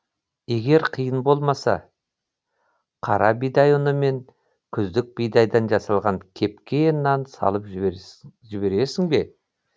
егер қиын болмаса қара бидай ұны мен күздік бидайдан жасалған кепкен нан салып жібересің бе